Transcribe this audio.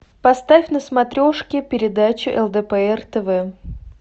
поставь на смотрешке передачу лдпр тв